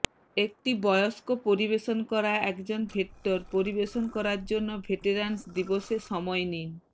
একটি বয়স্ক পরিবেশন করা একজন ভেট্টর পরিবেশন করার জন্য ভেটেরান্স দিবসে সময় নিন